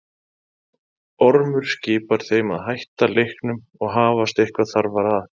Ormur skipar þeim að hætta leiknum og hafast eitthvað þarfara að.